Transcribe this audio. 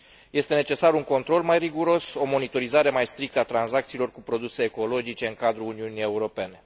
Este necesar un control mai riguros, o monitorizare mai strictă a tranzacțiilor cu produse ecologice în cadrul Uniunii Europene.